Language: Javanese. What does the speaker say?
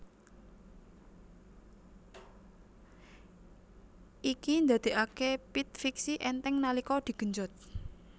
Iki ndadekake pit fixie enteng nalika digenjot